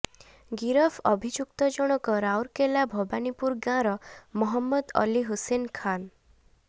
ଗିରଫ ଅଭିଯୁକ୍ତ ଜଣକ ରାଉରକେଲା ଭବାନୀପୁର ଗାଁର ମହମ୍ମଦ ଅଲ୍ଲୀ ହୁସେନ୍ ଖାନ୍